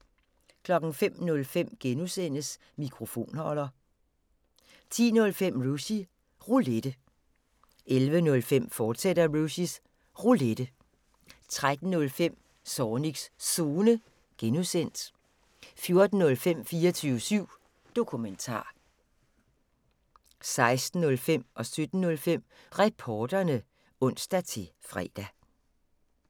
05:05: Mikrofonholder (G) 10:05: Rushys Roulette 11:05: Rushys Roulette, fortsat 13:05: Zornigs Zone (G) 14:05: 24syv Dokumentar 16:05: Reporterne (ons-fre) 17:05: Reporterne (ons-fre)